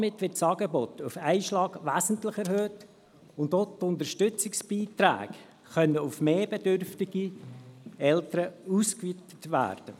Damit wird das Angebot auf einen Schlag wesentlich erhöht, und auch die Unterstützungsbeiträge können auf mehr bedürftige Eltern ausgeweitet werden.